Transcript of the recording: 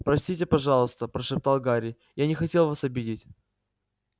простите пожалуйста прошептал гарри я не хотел вас обидеть